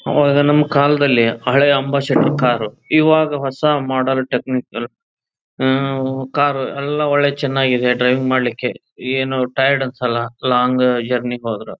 ಅವಾಗ ನಮ್ಮ ಕಾಲದಲ್ಲಿ ಹಳೆ ಅಂಬಾಸೆಡರ್ ಕಾರ್ ಇವಾಗ ಹೊಸ ಮಾಡೆಲ್ ಟೆಕ್ನಿಕ್ ಕಾರ್ ಎಲ್ಲ ಒಳ್ಳೆ ಚನ್ನಾಗಿದೆ. ಡ್ರೈವಿಂಗ್ ಮಾಡಲಿಕೆ ಏನೋ ಟೈರ್ಡ್ ಅನ್ಸಲ್ಲ ಲಾಂಗ್ ಜರ್ನಿ ಹೋದ್ರು.